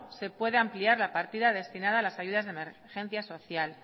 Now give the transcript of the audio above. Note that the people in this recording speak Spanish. se puede ampliar la partida destinada a las ayudas de emergencia social